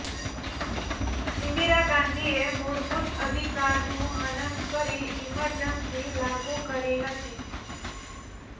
ઈન્દિરા ગાંધીએ મુળભુત અધિકારનું હનન કરી ઈમર્જનસી લાગુ કરી હતી